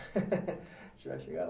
A gente vai chegar lá.